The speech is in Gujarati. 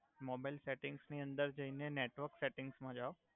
મોબઇલ સેટિંગ્સ અંદર જઈને નેટવર્ક સેટિંગ્સ માં જાવ